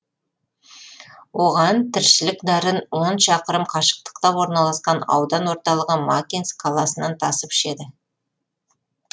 олар тіршілік нәрін он шақырым қашықтықта орналасқан аудан орталығы макинск қаласынан тасып ішеді